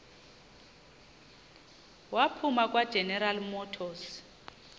waphuma kwageneral motors